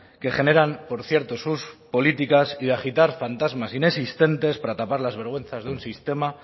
que generan por cierto sus políticas y de agitar fantasmas inexistentes para tapar las vergüenzas de un sistema